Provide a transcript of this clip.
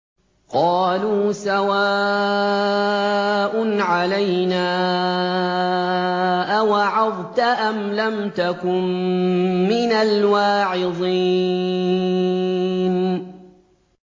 قَالُوا سَوَاءٌ عَلَيْنَا أَوَعَظْتَ أَمْ لَمْ تَكُن مِّنَ الْوَاعِظِينَ